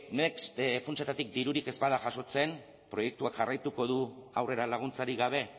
next funtsetatik dirurik ez bada jasotzen proiektuak jarraituko du aurrera laguntzarik gabe